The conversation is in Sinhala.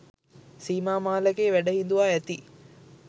සීමා මාලකයේ වැඩ හිඳුවා ඇති